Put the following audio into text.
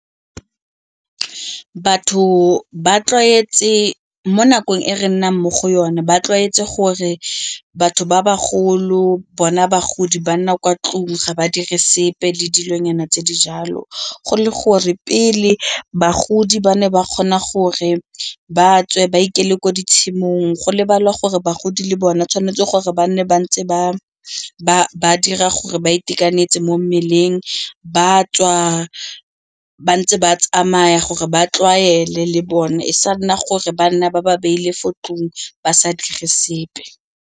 Batho mo nakong e re nnang mo go yone ba tlwaetse gore batho ba ba golo bona bagodi ba nna kwa ntlong ga ba dire sepe le dilonyana tse dijalo go le gore pele bagodi ba ne ba kgona gore ba tswe ba ikele ko ditshimong go lebalwa gore bagodi le bone tshwanetse gore ba nne ba ntse ba ba dira gore ba itekanetse mo mmeleng, ba tswa ba ntse ba tsamaya gore ba tlwaele le bone e sa nna gore ba nna ba ba beile fo ntlong ba sa dire sepe.